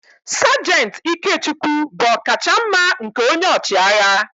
Sajant Ikechukwu bụ ọkachamma nke onye ọchịagha